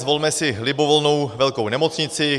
Zvolme si libovolnou velkou nemocnici.